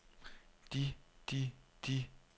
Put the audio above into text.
de de de